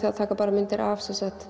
að taka bara myndir af